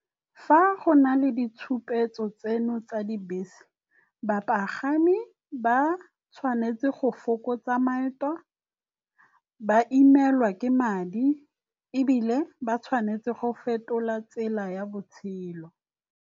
Fa go na le ditshupetso tseno tsa dibese, bapagami ba tshwanetse go fokotsa maeto, ba imelwa ke madi ebile ba tshwanetse go fetola tsela ya botshelo.